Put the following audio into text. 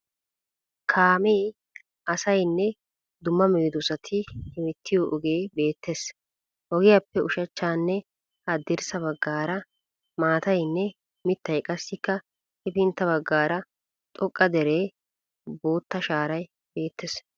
Kaame, aasayinne dumma medoosati hemettiyo ogee beettees. Ogiyaappe ushachchanne haddirssa baggaara maatayinne mittay qassikka hefintta baggaara xoqqa dereenne bootta shaaray beettees.